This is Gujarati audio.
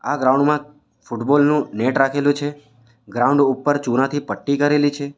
આ ગ્રાઉન્ડ માં ફૂટબોલ નું નેટ રાખેલું છે ગ્રાઉન્ડ ઉપર ચુનાથી પટ્ટી કરેલી છે.